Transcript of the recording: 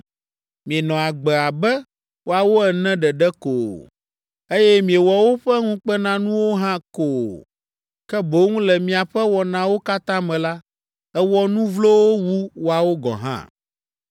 Mienɔ agbe abe woawo ene ɖeɖe ko o, eye miewɔ woƒe ŋukpenanuwo hã ko o, ke boŋ le miaƒe wɔnawo katã me la, èwɔ nu vlowo wu woawo gɔ̃ hã.